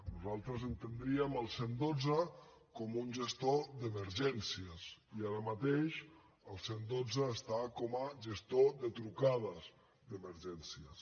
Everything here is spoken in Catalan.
nosaltres entendríem el cent i dotze com un gestor d’emergències i ara mateix el cent i dotze està com a gestor de trucades d’emergències